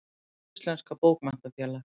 Hið Íslenska Bókmenntafélag.